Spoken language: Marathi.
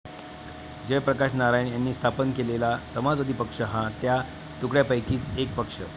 जयप्रकाश नारायण यांनी स्थापन केलेला समाजवादी पक्ष हा त्या तुकड्यांपैकीच एक पक्ष.